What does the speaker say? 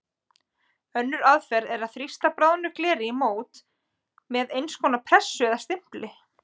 Önnur aðferð er að þrýsta bráðnu gleri í mót með eins konar pressu eða stimpli.